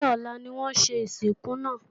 Ṣé ọ̀la ni wọn ó ṣe ìsìnkú náà?